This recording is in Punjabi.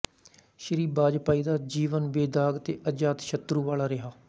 ਸ਼੍ਰੀ ਵਾਜਪਾਈ ਦਾ ਜੀਵਨ ਬੇਦਾਗ਼ ਤੇ ਅਜਾਤਸ਼ਤਰੂ ਵਾਲਾ ਰਿਹਾ